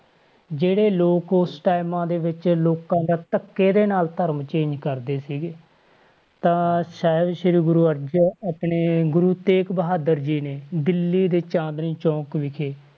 ਜਿਹੜੇ ਲੋਕ ਉਸ times ਦੇ ਵਿੱਚ ਲੋਕਾਂ ਦਾ ਧੱਕੇ ਨਾਲ ਧਰਮ change ਕਰਦੇ ਸੀਗੇ ਤਾਂ ਸ਼ਾਇਦ ਸ੍ਰੀ ਗੁਰੂ ਅਰਜਨ ਆਪਣੇ ਗੁਰੂ ਤੇਗ ਬਹਾਦਰ ਜੀ ਨੇ ਦਿੱਲੀ ਦੇ ਚਾਂਦਨੀ ਚੌਕ ਵਿਖੇ,